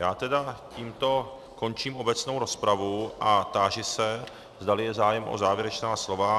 Já tedy tímto končím obecnou rozpravu a táži se, zdali je zájem o závěrečná slova.